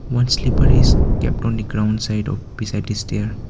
one slipper is kept on the ground side of beside the stair.